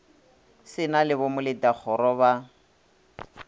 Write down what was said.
se na le bomoletakgoro ba